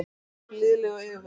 Ég verð blíðleg og yfirveguð.